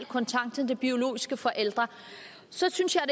kontakt til de biologiske forældre så synes jeg